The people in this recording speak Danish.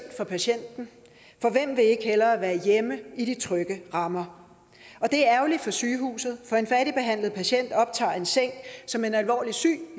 for patienten for hvem vil ikke hellere være hjemme i de trygge rammer og det er ærgerligt for sygehuset for en færdigbehandlet patient optager en seng som en alvorligt syg